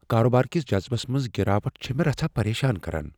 کارٕبٲر کس جذبس منٛز گراوٹ چھ مےٚ رژھاہ پریشان کران۔